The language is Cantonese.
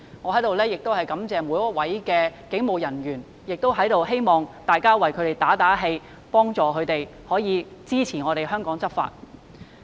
我在此感謝每一位警務人員，同時亦希望大家為他們打打氣，幫助並支持他們為香港執法。